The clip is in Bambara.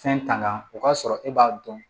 Fɛn tanga o k'a sɔrɔ e b'a dɔn